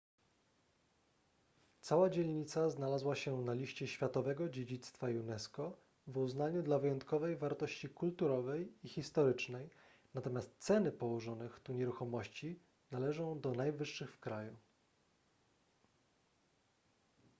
cała dzielnica znalazła się na liście światowego dziedzictwa unesco w uznaniu dla wyjątkowej wartości kulturowej i historycznej natomiast ceny położonych tu nieruchomości należą do najwyższych w kraju